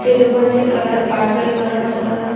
এই দোকানটির colour purple colour রঙ করা।